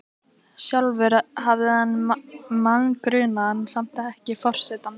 Sjálfur hafði hann mann grunaðan, samt ekki Forsetann.